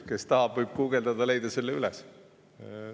Kes tahab, võib guugeldada, leiab selle üles.